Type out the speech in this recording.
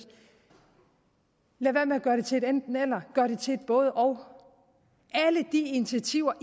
gøre det til et enten eller gør det til et både og alle de initiativer